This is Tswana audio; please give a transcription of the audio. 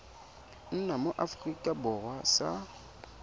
nna mo aforika borwa sa